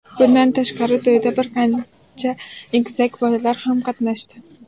Bundan tashqari to‘yda bir qancha egizak bolalar ham qatnashdi.